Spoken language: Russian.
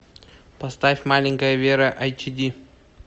поставь маленькая вера айч ди